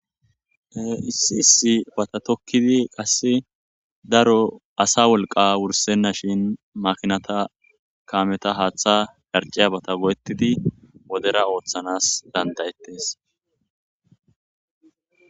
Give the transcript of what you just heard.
Issi issibata tokidi daro asa wolqa wursenashin makinata kametha hatha dhariciyabata go,etidi wodera othanas dandayetes